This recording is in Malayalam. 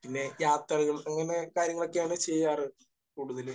പിന്നെ യാത്രകൾ. അങ്ങനെ കാര്യങ്ങൾ ഒക്കെയാണ് ചെയ്യാറ് കൂടുതൽ.